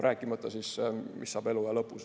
Rääkimata sellest, mis saab eluaja lõpus.